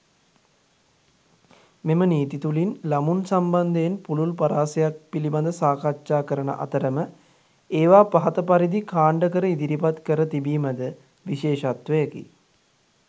මෙම නීති තුළින් ළමුන් සම්බන්ධයෙන් පුළුල් පරාසයක් පිළිබඳ සාකච්ඡා කරන අතරම ඒවා පහත පරිදි කාණ්ඩ කර ඉදිරිපත් කර තිබීමද විශේෂත්වයකි.